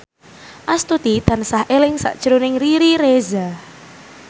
Astuti tansah eling sakjroning Riri Reza